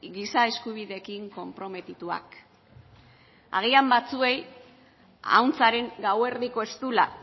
giza eskubideekin konprometituak agian batzuei ahuntzaren gauerdiko eztula